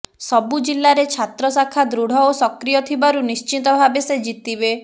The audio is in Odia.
ସବୁ ଜିଲ୍ଲାରେ ଛାତ୍ର ଶାଖା ଦୃଢ଼ ଓ ସକ୍ରିୟ ଥିବାରୁ ନିଶ୍ଚିତ ଭାବେ ସେ ଜିତିବେ